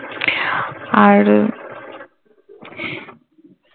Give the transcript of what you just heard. আর